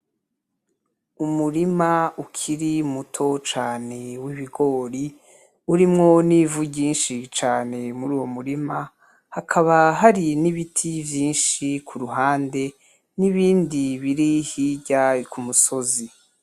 Umurima ukiri muto cane w'ibigori urimwo n'ivu ryinshi cane muri uwo murima hakaba hari n'ibiti vyinshi kuruhande n'ibindi biri hirya k'umusozi.